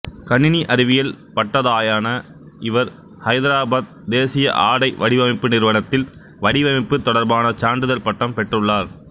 கணினி அறிவியல் பட்டதாயான இவர் ஐதராபாத்து தேசிய ஆடை வடிவமைப்பு நிறுவனத்தில் வடிவமைப்பு தொடர்பான சான்றிதழ் பட்டம் பெற்றுள்ளார்